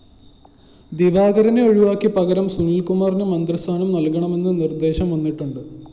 ദിവാകരനെ ഒഴിവാക്കി പകരം സുനില്‍കുമാറിന് മന്ത്രിസ്ഥാനം നല്‍കണമെന്ന നിര്‍ദ്ദേശം വന്നിട്ടുണ്ട്